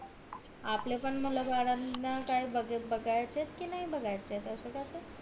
आपले पण मुला बाळांना काय बागायचेत कि बागायचेत नाही असं कस